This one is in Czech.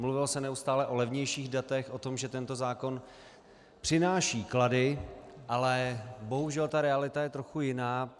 Mluvilo se neustále o levnějších datech, o tom, že tento zákon přináší klady, ale bohužel ta realita je trochu jiná.